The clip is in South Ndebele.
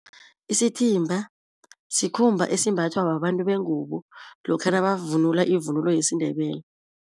Isithimba sikhumba esimbathwa babantu bengubo lokha nabavunula ivunulo yesiNdebele.